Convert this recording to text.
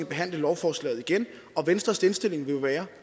behandle lovforslaget igen venstres indstilling vil jo være